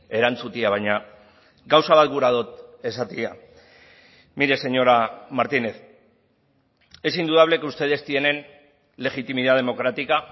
erantzutea baina gauza bat gura dut esatea mire señora martínez es indudable que ustedes tienen legitimidad democrática